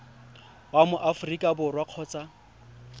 wa mo aforika borwa kgotsa